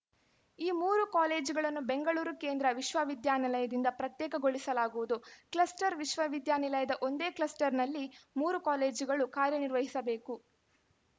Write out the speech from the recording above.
ಈ ಮೂರೂ ಕಾಲೇಜುಗಳನ್ನು ಬೆಂಗಳೂರು ಕೇಂದ್ರ ವಿಶ್ವವಿದ್ಯಾನಿಲಯದಿಂದ ಪ್ರತ್ಯೇಕಗೊಳಿಸಲಾಗುವುದು ಕ್ಲಸ್ಟರ್‌ ವಿಶ್ವವಿದ್ಯಾನಿಲಯದ ಒಂದೇ ಕ್ಲಸ್ಟರ್‌ನಲ್ಲಿ ಮೂರೂ ಕಾಲೇಜುಗಳು ಕಾರ್ಯನಿರ್ವಹಿಸಬೇಕು